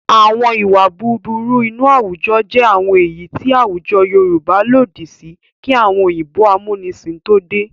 Àwọn ìwà búburú inú àwùjọ jẹ́ àwọn èyí tí àwùjọ Yorùbá lòdì sí kí àwọn òyìnbó amúnisìn tó dé.